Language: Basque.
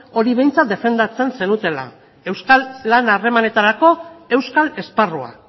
hori behintzat defendatzen zenutela euskal lan harremanetarako euskal esparrua